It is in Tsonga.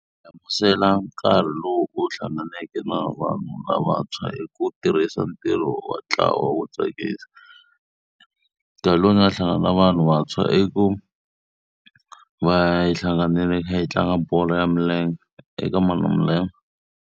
Hlamusela nkarhi lowu u hlanganeke na vanhu lavantshwa i ku tirhisa ntirho wa ntlawa wo tsakisa. Nkarhi lowu ni nga hlangana na vanhu vantshwa i ku va hi hlanganile hi kha hi tlanga bolo ya milenge eka Malamulele.